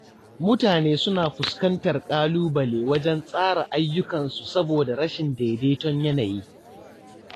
Mutane suna fuskantar ƙalubale wajen tsara ayyukansu saboda rashin daidaiton yanayi.